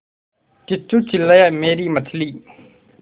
किच्चू चिल्लाया मेरी मछली